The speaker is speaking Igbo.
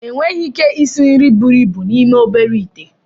Enweghị ike isi nri buru ibu n'ime obere ite